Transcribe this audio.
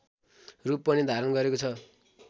रूप पनि धारण गरेको छ